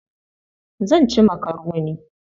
Zan ci makaroni.